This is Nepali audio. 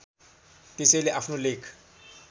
त्यसैले आफ्नो लेख